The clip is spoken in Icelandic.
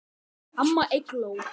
Amma Eygló.